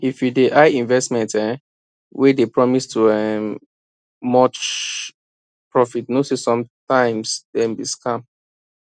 if you dey eye investment um wey dey promise too um much profit know say sometimes dem be scam